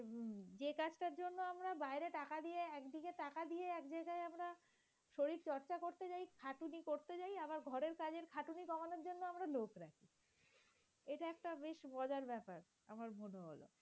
আমরা লোক রাখি এটা একটা বেশ মজার ব্যাপার আমার মনে হল।